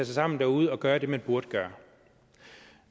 sammen derude og gøre det man burde gøre